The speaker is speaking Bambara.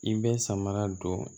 I bɛ samara don